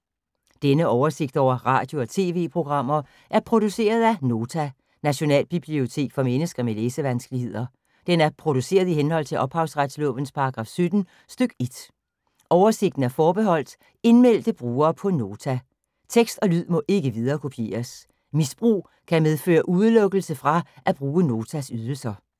Denne oversigt over radio og TV-programmer er produceret af Nota, Nationalbibliotek for mennesker med læsevanskeligheder. Den er produceret i henhold til ophavsretslovens paragraf 17 stk. 1. Oversigten er forbeholdt indmeldte brugere på Nota. Tekst og lyd må ikke viderekopieres. Misbrug kan medføre udelukkelse fra at bruge Notas ydelser.